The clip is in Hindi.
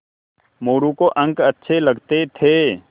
मोरू को अंक अच्छे लगते थे